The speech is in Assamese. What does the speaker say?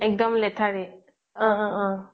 এক্দম লেথাৰিত